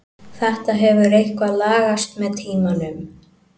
Þetta hefur eitthvað lagast með tímanum.